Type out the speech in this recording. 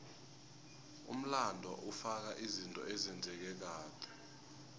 umlando ufaka izinto ezenzeka kade